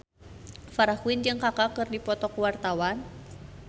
Farah Quinn jeung Kaka keur dipoto ku wartawan